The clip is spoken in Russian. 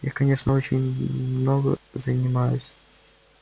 я конечно очень много занимаюсь